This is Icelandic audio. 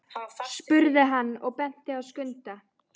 spurði hann og benti á Skunda.